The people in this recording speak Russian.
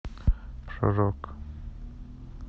шажок